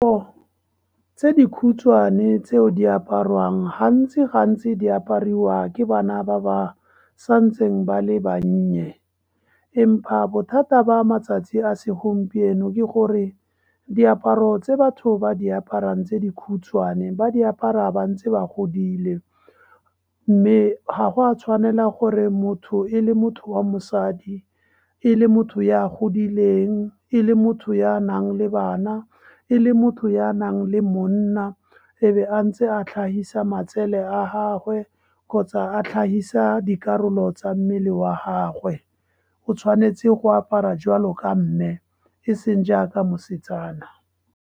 Tse dikhutshwane tseo di aparwang, gantsi di apariwa ke bana ba ba santseng ba le bannye, empa bothata ba matsatsi a segompieno ke gore diaparo tse batho ba diaparang tse dikhutshwane ba diaparo ba ntse ba godile. Mme ga go a tshwanela gore motho e le motho wa mosadi, e le motho ya godileng, e le motho ya nang le bana, e le motho ya nang le monna, e be ntse a tlhahisa matsele a gagwe kgotsa a tlhahisa dikarolo tsa mmele wa gagwe. O tshwanetse go apara jwalo mme, e seng jaaka mosetsana.